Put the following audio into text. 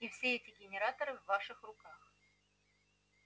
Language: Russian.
и все эти генераторы в ваших руках